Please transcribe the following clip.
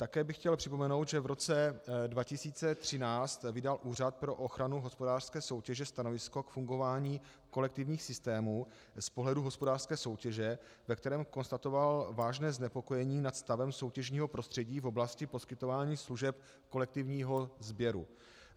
Také bych chtěl připomenout, že v roce 2013 vydal Úřad pro ochranu hospodářské soutěže stanovisko k fungování kolektivních systémů z pohledu hospodářské soutěže, ve kterém konstatoval vážné znepokojení nad stavem soutěžního prostředí v oblasti poskytování služeb kolektivního sběru.